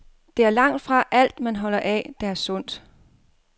Det er langtfra alt, man holder af, der er sundt.